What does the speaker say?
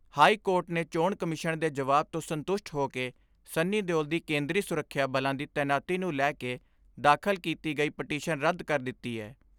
High court ਨੇ ਚੋਣ commission ਦੇ ਜਵਾਬ ਤੋਂ ਸੰਤੁਸ਼ਟ ਹੋ ਕੇ ਸੰਨੀ ਦਿਉਲ ਦੀ ਕੇਂਦਰੀ ਸੁਰੱਖਿਆ ਬਲਾਂ ਦੀ ਤੈਨਾਤੀ ਨੂੰ ਲੈ ਕੇ ਦਾਖਲ ਕੀਤੀ ਗਈ ਪਟੀਸ਼ਨ ਰੱਦ ਕਰ ਦਿੱਤੀ ਏ।